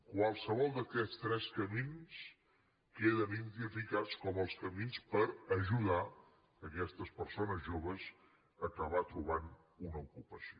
qualssevol d’aquests tres camins queden identificats com els camins per ajudar aquestes persones joves a acabar trobant una ocupació